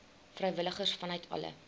vrywilligers vanuit alle